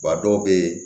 a dɔw bɛ yen